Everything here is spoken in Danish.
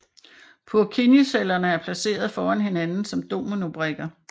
Purkinjecellerne er placeret foran hinanden som dominobrikker